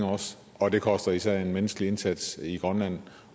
og det koster især en menneskelig indsats i grønland